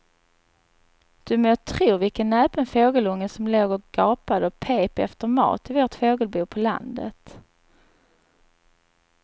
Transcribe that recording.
Du må tro vilken näpen fågelunge som låg och gapade och pep efter mat i vårt fågelbo på landet.